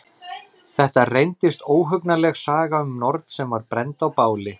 Þetta reyndist óhugnanleg saga um norn sem var brennd á báli.